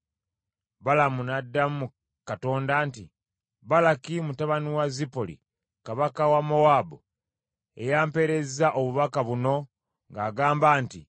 Balamu n’addamu Katonda nti, “Balaki mutabani wa Zipoli, Kabaka wa Mowaabu ye yampeereza obubaka buno ng’agamba nti,